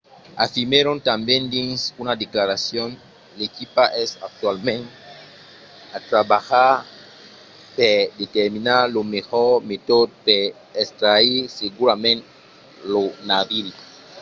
afirmèron tanben dins una declaracion l’equipa es actualament a trabalhar per determinar lo melhor metòde per extraire segurament lo naviri